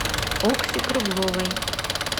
окси кругловой